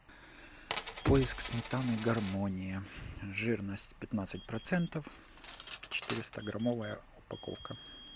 поиск сметаны гармония жирность пятнадцать процентов четыреста граммовая упаковка